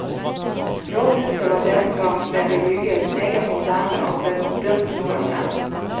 Rådhuset var dengang det ble bygget, meget moderne og ble dømt nord og ned.